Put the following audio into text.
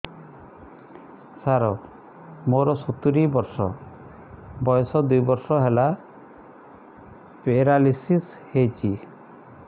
ସାର ମୋର ସତୂରୀ ବର୍ଷ ବୟସ ଦୁଇ ବର୍ଷ ହେଲା ପେରାଲିଶିଶ ହେଇଚି